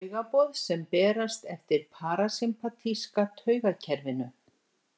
Taugaboð sem berast eftir parasympatíska taugakerfinu.